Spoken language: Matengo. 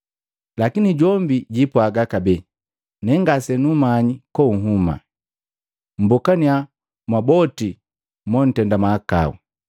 Lakini jombi jwiipwaga kabee, ‘Nee ngase nukumanyi konhuma. Mmbokaniya mwa boti montenda mahakau!’